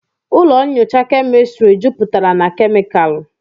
ụlọ nyocha kemịstri jupụtara na kemịkalụ